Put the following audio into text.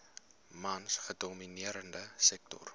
mans gedomineerde sektor